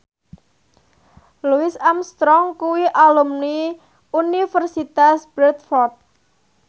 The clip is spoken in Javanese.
Louis Armstrong kuwi alumni Universitas Bradford